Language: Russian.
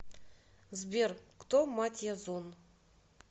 сбер кто мать язон